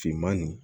Finman nin